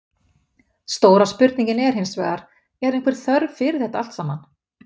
Stóra spurningin er hinsvegar, er einhver þörf fyrir þetta allt saman?